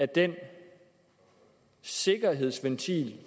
den sikkerhedsventil